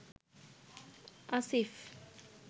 Asif